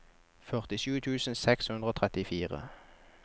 førtisju tusen seks hundre og trettifire